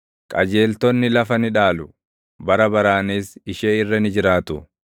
Qajeeltonni lafa ni dhaalu; bara baraanis ishee irra ni jiraatu.